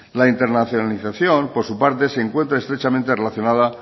la internacionalización por su parte se encuentra estrechamente relacionada